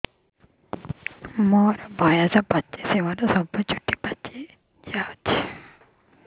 ମୋର ବୟସ ପଚିଶି ମୋର ସବୁ ଚୁଟି ପାଚି ଯାଇଛି